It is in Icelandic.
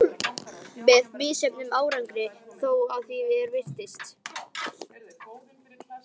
Með misjöfnum árangri þó, að því er virtist.